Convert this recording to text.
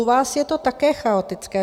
U vás je to také chaotické.